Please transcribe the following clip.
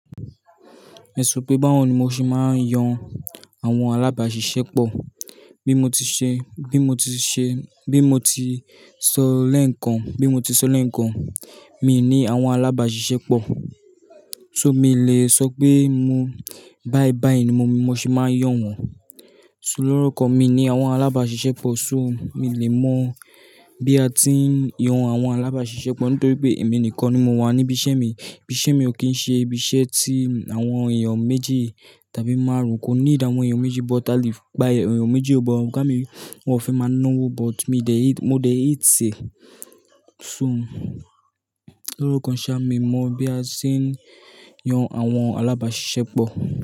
Èso pé báwo ni mo ṣe máa ń yan àwọn alábàáṣiṣẹ́pọ̀? Bí mo ti ṣe, bí mo ti sọ lẹ́ẹ̀kan, mi ò ní àwọn alábàáṣiṣẹ́pọ̀. So, mi ò lè sọ pé bái bái ni mo ṣe máa ń yàn wọ́n. So lórúkọ kan mi ni àwọn alábàáṣiṣẹ́pọ̀, so mi ò lè mọ̀ bí a ti ń yan àwọn alábàáṣiṣẹ́pọ̀ nítorí pé èmi nìkan ni mo wà níbí iṣẹ́ mi. Ibí iṣẹ́ mi ò kí ń ṣe ibi iṣẹ́ tí àwọn èèyàn méjì tàbí márùn-ún, kò need àwọn èèyàn méjì, but a le gbá èèyàn méjì o but ọ̀gá mi, wọn ò fe máa náwó, but mo de hate e. So, lóro kan ṣá, mi mọ̀ bí a ṣe ń yan àwọn alábàáṣiṣẹ́pọ̀.